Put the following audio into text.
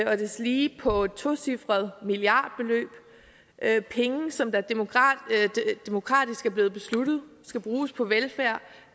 og deslige på et tocifret milliardbeløb penge som det demokratisk er blevet besluttet skal bruges på velfærd